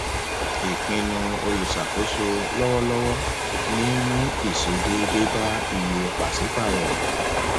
ìpinnu olùṣàkóso lọwọlọwọ ní mú ìṣe déédé bá iye pàṣípàrọ